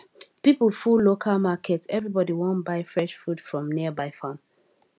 people full local market everybody wan buy fresh food from nearby farm